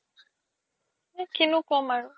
কিনো ক্'ম আৰু